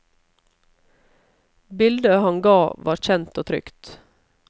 Bildet han ga var kjent og trygt.